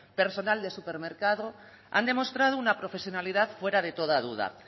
personal del supermercado han demostrado una profesionalidad fuera de toda duda